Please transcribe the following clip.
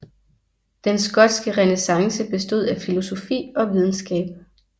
Den skotske renæssance bestod af filosofi og videnskab